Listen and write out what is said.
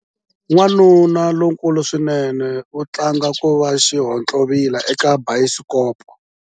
Wanuna lonkulu swinene u tlanga ku va xihontlovila eka bayisikopo.